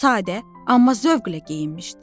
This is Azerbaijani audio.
Sadə, amma zövqlə geyinmişdi.